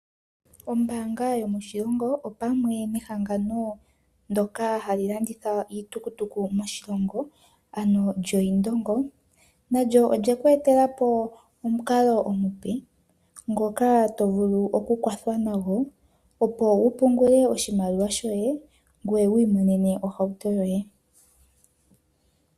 Ombaanga yomoshilongo, opamwe nehangano ndyoka hali landitha iitukutuku moshilongo, ano lyoIndongo, nalyo olye ku etela po omukalo omupe ngoka to vulu okukwathwa nago opo wu pungule oshimaliwa shoye, ngoye wu imonene ohauto yoye.